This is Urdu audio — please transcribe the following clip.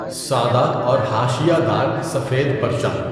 ساده اور حاشیہ دار سفید پرچم